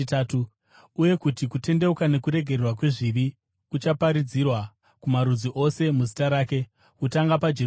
uye kuti kutendeuka nokuregererwa kwezvivi kuchaparidzirwa kumarudzi ose muzita rake, kutanga paJerusarema.